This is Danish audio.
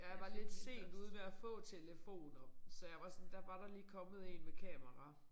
Jeg var lidt sent ude med at få telefoner så jeg var sådan der var der lige kommet én med kamera